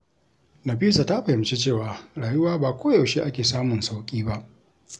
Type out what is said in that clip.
Nafisa ta fahimci cewa rayuwa ba koyaushe ake samun sauƙi ba.